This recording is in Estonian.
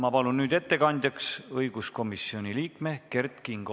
Ma palun ettekandjaks õiguskomisjoni liikme Kert Kingo.